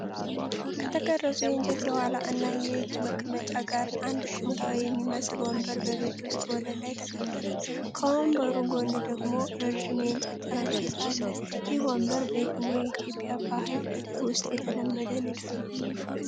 ከተቀረጹ የእንጨት የኋላ እና የእጅ መቀመጫዎች ጋር አንድ ጥንታዊ የሚመስል ወንበር በቤት ውስጥ ወለል ላይ ተቀምጧል። ከወንበሩ ጎን ደግሞ ረዥም የእንጨት ጠረጴዛ አለ። ይህ ወንበር በየትኛው የኢትዮጵያ ባህል ውስጥ የተለመደ ንድፍ ነው?